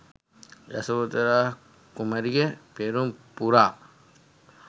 යසෝධරා කුමරිය පෙරුම් පුරා